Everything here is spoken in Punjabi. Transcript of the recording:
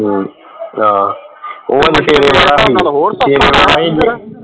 ਹਮ ਹਾਂ